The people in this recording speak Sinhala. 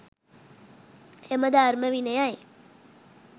එම ධර්ම විනයයි